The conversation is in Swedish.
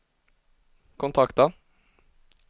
kontakta